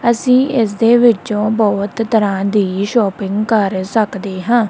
ਅੱਸੀ ਇੱਸ ਦੇ ਵਿਚੋਂ ਬੋਹਤ ਤਰਹਾਂ ਦੀ ਸ਼ੌਪਿੰਗ ਕਰ ਸਕਦੇ ਹਾਂ।